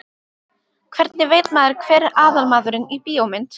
Hvernig veit maður hver er aðalmaðurinn í bíómynd?